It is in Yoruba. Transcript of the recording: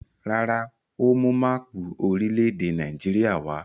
Rárá, ó mú máápù orílẹ̀-èdè Nàìjíríà wá.